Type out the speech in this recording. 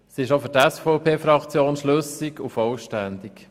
Sie ist auch für die SVP-Fraktion schlüssig und vollständig.